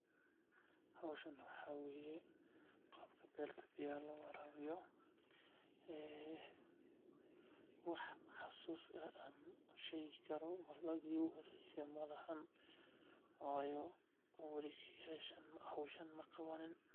Howshan waxaa waye qaabka beerta biyahan loo waraabiyo wax xasuus ah aan sheegi karo malahan waayo weli howshan maqabanin.